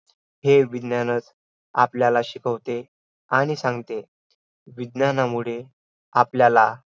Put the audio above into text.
विविता विवियती प्रनायनाने धरायती येती व प्राणांची धारण करते त्यास आयु म्हणतात.